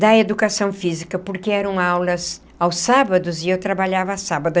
da educação física, porque eram aulas aos sábados e eu trabalhava sábado.